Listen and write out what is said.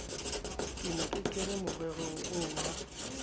ke kene morerong oo wa